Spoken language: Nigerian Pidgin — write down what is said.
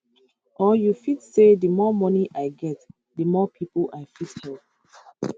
or you fit say di more money i get di more pipo i fit help